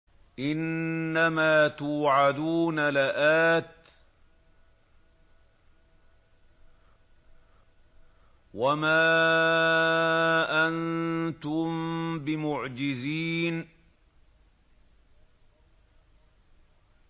إِنَّ مَا تُوعَدُونَ لَآتٍ ۖ وَمَا أَنتُم بِمُعْجِزِينَ